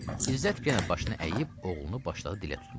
İzzət yenə başını əyib oğlunu başladı dilə tutmağa.